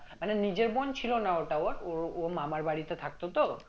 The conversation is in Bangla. মানে নিজের বোন ছিল না ওটা ওর ওর ও মামার বাড়িতে থাকতো তো